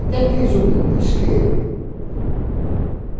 Até fiz um isqueiro.